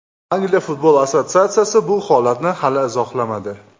Angliya futbol assotsiatsiyasi bu holatni hali izohlamadi.